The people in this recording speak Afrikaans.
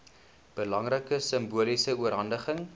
belangrike simboliese oorhandiging